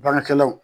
Baarakɛlaw